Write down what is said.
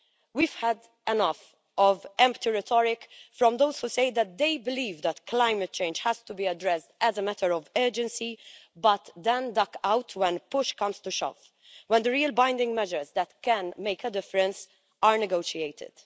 We've had enough of empty rhetoric from those who say that they believe that climate change has to be addressed as a matter of urgency, but then duck out when push comes to shove, when the real binding measures that can make a difference are negotiated.